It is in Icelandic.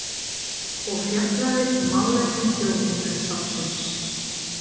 og fjallaði um málefni Þjóðminjasafns.